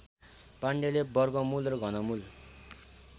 पाण्डेले वर्गमूल र घनमूल